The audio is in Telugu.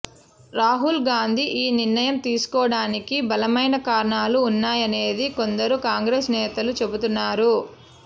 రాహుల్ గాంధీ ఈ నిర్ణయం తీసుకోవడానికి బలమైన కారణాలు ఉన్నాయనేది కొందరు కాంగ్రెస్ నేతలు చెబుతున్నారు